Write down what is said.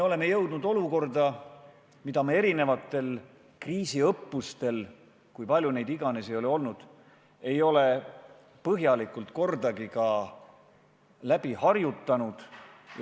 Oleme jõudnud olukorda, mida me erinevatel kriisiõppustel – kui palju neid iganes ka olnud ei ole – pole kordagi põhjalikult läbi harjutanud.